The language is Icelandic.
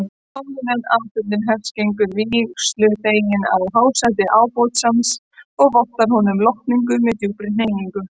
Áðuren athöfnin hefst gengur vígsluþeginn að hásæti ábótans og vottar honum lotningu með djúpri hneigingu.